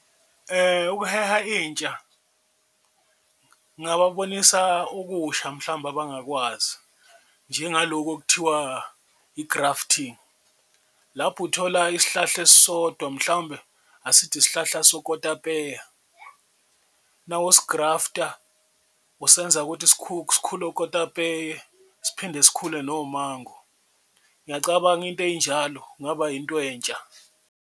Ukuheha intsha ngababonisa okusha mhlawumbe abangakwazi njengaloku okuthiwa i-grafting lapho uthola isihlahla esisodwa mhlawumbe asithi isihlahla sokotapeya, nawusi-grafter usenza ukuthi sikhule ukotapeya, siphinde sikhule nomango. Ngiyacabanga into ey'njalo kungaba yinto entsha.